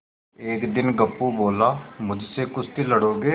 एक दिन गप्पू बोला मुझसे कुश्ती लड़ोगे